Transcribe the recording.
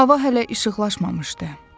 Hava hələ işıqlaşmamışdı.